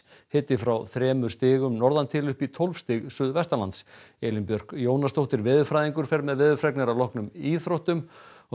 hiti frá þremur stigum norðan til upp í tólf stig suðvestanlands Elín Björk Jónasdóttir veðurfræðingur fer með veðurfregnir að loknum íþróttum og